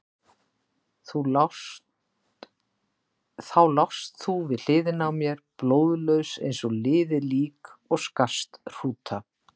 Þá lást þú við hliðina á mér, blóðlaus eins og liðið lík og skarst hrúta.